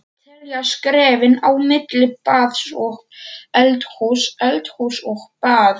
Telja skrefin á milli baðs og eldhúss, eldhúss og baðs.